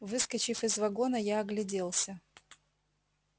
выскочив из вагона я огляделся